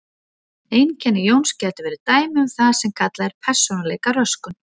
Einkenni Jóns gætu verið dæmi um það sem kallað er persónuleikaröskun.